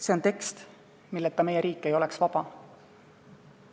See on tekst, milleta meie riik ei oleks vaba.